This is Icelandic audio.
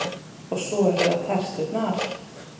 Og svo eru það terturnar.